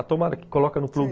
A tomada que coloca no tubo, sei